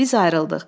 Biz ayrıldıq.